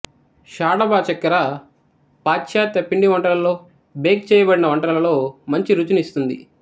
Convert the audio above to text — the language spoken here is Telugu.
షాడబ చక్కెర పాశ్చాత్య పిండివంటలలో బేక్ చేయబడిన వంటలలో మంచి రుచినిస్తుంది